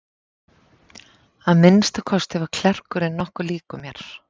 Að minnsta kosti var klerkurinn nokkuð líkur mér.